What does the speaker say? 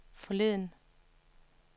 forleden